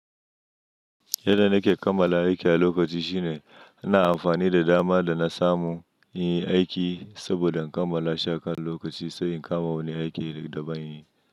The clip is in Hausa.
Yadda nake kammala aikin a lokaci shine ina amfani da dama da na samu yin aiki saboda in kammala sha kan lokaci sai in kama wani aiki da ban yi.